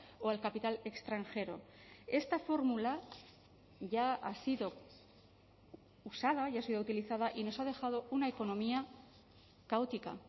o al capital extranjero esta fórmula ya ha sido usada y ha sido utilizada y nos ha dejado una economía caótica